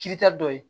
Kirita dɔ ye